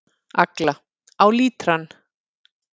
Agla: Á lítrann.